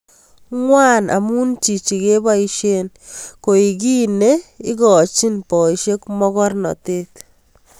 Ngwan amu chichi keboisie koek kiy neikochoni boisiek mogornatet